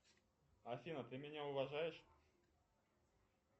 афина ты меня уважаешь